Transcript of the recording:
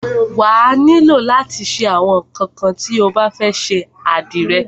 Wà á nílò látí ra àwọn ńnkan tí o bá fẹ́ ṣe àdìrẹ.